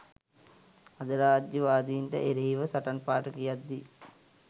අධිරාජ්‍යවාදීන්ට එරෙහිව සටන් පාඨ කියද්දී